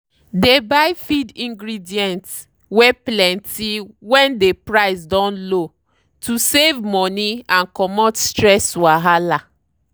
dey buy feed ingredients wey plenty when dey price don low to save money and comot stress wahala.